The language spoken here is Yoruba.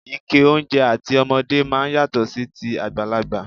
Ike oúnjẹ àti ọmọdé máa ń yàtọ̀ sí ti àgbàlagbà.